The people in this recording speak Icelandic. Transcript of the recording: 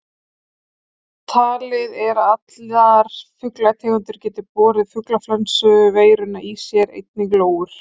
Talið er að allar fuglategundir geti borið fuglaflensuveiruna í sér, einnig lóur.